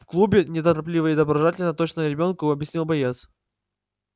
в клубе неторопливо и доброжелательно точно ребёнку объяснил боец